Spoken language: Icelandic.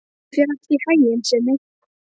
Gangi þér allt í haginn, Simmi.